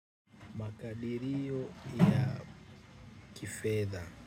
Makadirio ya kifedha.